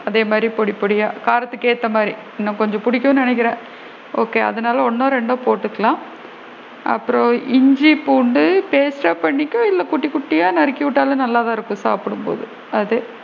அதே மாதிரி பொடி பொடியா காரத்துக்கு ஏத்த மாதிரி உனக்கு கொஞ்சம் புடிக்கும்ன்னு நினைக்கிறன் அதனால ஒன்னோ ரெண்டோ போட்டுக்கலாம் அப்பறம் இஞ்சி பூண்டு paste டா பண்ணிக்கோ இல்ல குட்டி குட்டியா நறுக்கி விட்டாலும் நல்லா தான் இருக்கும் சாப்பிடும் போது அது